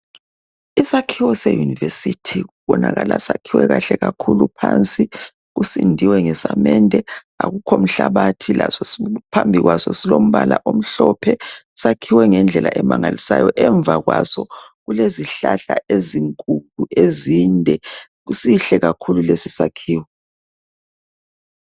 Isakhiwo se university, kubonakala sakhiwe kahle kakhulu. Phansi kusindiwe ngesamende akukho mhlabathi. Laso phambi kwaso kulombala omhlophe. Sakhiwe ngendlela emangalisayo. Emva kwaso kulezihlahla ezinkulu ezinde. Sihle kakhulu lesi sakhiwo.